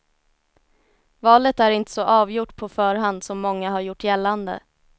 Valet är inte så avgjort på förhand som många har gjort gällande.